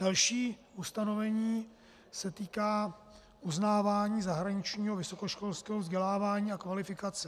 Další ustanovení se týká uznávání zahraničního vysokoškolského vzdělávání a kvalifikace.